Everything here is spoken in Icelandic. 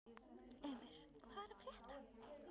Emir, hvað er að frétta?